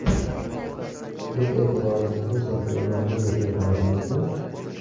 Biz e’tiborimizni Chempionlar Ligasiga qaratamizmi?